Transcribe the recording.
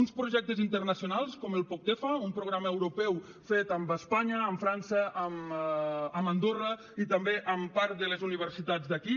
uns projectes internacionals com el poctefa un programa europeu fet amb espanya amb frança amb andorra i també amb part de les universitats d’aquí